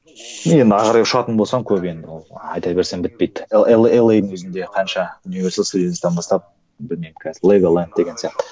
енді ары қарай ұшатын болсам көп енді ол айта берсем бітпейді елэйдің өзінде қанша бастап білмеймін қазір легаленд деген сияқты